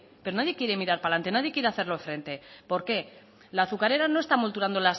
pero nadie quiere mirar para adelante nadie quiere hacerle frente por qué la azucarera no está molturando